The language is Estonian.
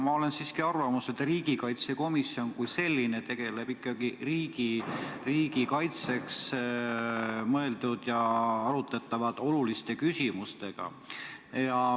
Ma olen siiski arvamusel, et riigikaitsekomisjon kui selline tegeleb ikkagi riigi kaitseks mõeldud ja arutletavate oluliste küsimustega.